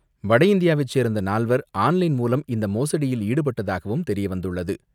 வடஇந்தியாவைச் சேர்ந்த நால்வர் ஆன்லைன் மூலம் இந்த மோடியில் ஈடுபட்டதாகவும் தெரியவந்துள்ளது.